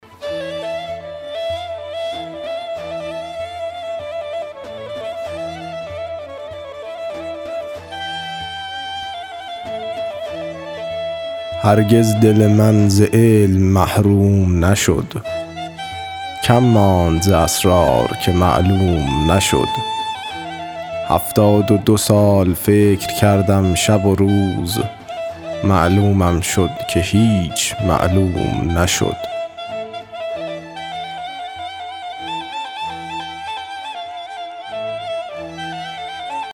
هرگز دل من ز علم محروم نشد کم ماند ز اسرار که معلوم نشد هفتاد و دو سال فکر کردم شب و روز معلومم شد که هیچ معلوم نشد